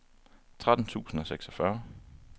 tretten tusind og seksogfyrre